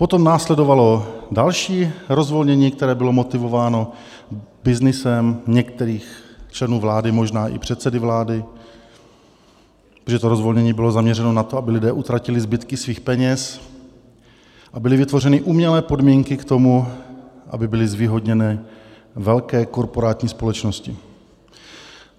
Potom následovalo další rozvolnění, které bylo motivováno byznysem některých členů vlády, možná i předsedy vlády, protože to rozvolnění bylo zaměřeno na to, aby lidé utratili zbytky svých peněz, a byly vytvořeny umělé podmínky k tomu, aby byly zvýhodněny velké korporátní společnosti.